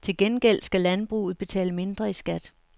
Til gengæld skal landbruget betale mindre i skat.